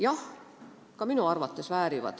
Jah, ka minu arvates väärivad.